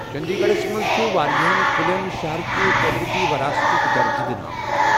چٔنٛدی گَڑھس منٛز چُھ واریاہن کُلیٚن شہرٕ کہِ قۄدرٔتی وَراثتُک درجہٕ دِنہٕ آمُت۔